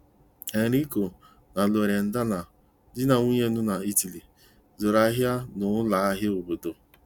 Enrico na Loredana, di na nwunye nọ na Italy, zuru ahia n'ụlọ ahịa obodo.